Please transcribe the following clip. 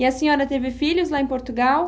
E a senhora teve filhos lá em Portugal?